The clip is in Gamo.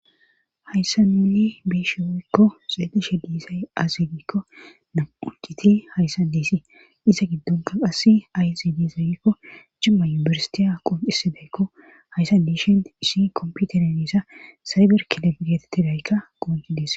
Hayssa nunni biishi woykko xeedeshe diisay azegikko nam7uciti hayssa diisii iza giddonka qasse ayxi di zagikko jimma yubersitiya qonxisi deykko hayssa diishin isi komputeren diisa sayber kilofigete tidaykka gounci des.